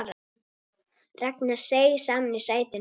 Ragnar seig saman í sætinu.